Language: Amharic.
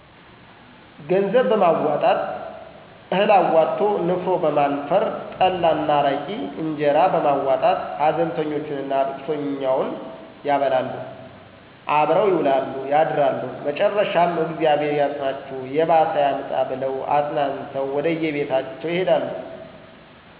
ገንዘብ በማዋጣት፣ እህል አዋቶ ንፍሮ በማነፈር፣ ጠላ እና አረቂ፣ እነጀራ በማዋጣት ሀዘንተኞቹንና ልቅሶኘውን ያበላሉ፣ አብሮ ይውላሉ ያድራሉ መጨረሻም እግዚአብሔር ያጽናቹ የባሰ አያምጣ ብለው አጽናንተው ወደየቤታቸው ይሄዳሉ።